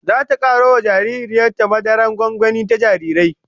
Zata karo wa jaririyar ta madarar gwangwani ta jarirai